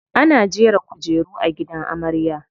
Ana jera kujeru a gidan amarya.